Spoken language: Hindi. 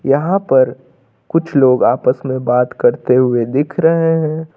यहां पर कुछ लोग आपस में बात करते हुए दिख रहे हैं।